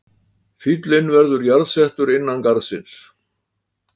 Fíllinn verður jarðsettur innan garðsins